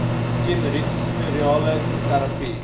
teen retrovirale terapie